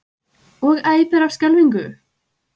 Og æpir af skelfingu.